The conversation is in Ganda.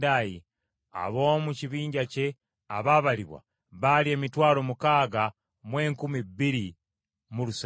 Ab’omu kibinja kye abaabalibwa baali emitwalo mukaaga mu enkumi bbiri mu lusanvu (62,700).